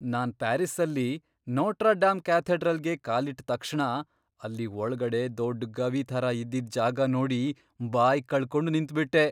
ನಾನ್ ಪ್ಯಾರಿಸ್ಸಲ್ಲಿ, Notre Dame ಕ್ಯಾಥೆಡ್ರಲ್ಗೆ ಕಾಲಿಟ್ಟ್ ತಕ್ಷಣ ಅಲ್ಲಿ ಒಳ್ಗಡೆ ದೊಡ್ಡ್ ಗವಿ ಥರ ಇದ್ದಿದ್ ಜಾಗ ನೋಡಿ ಬಾಯ್ಕಳ್ಕೊಂಡ್ ನಿಂತ್ಬಿಟ್ಟೆ.